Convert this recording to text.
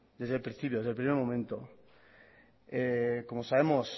desde el principio desde el primer momento como sabemos